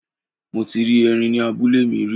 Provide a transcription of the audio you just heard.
Mo ti rí erin ní abúlé mi rí.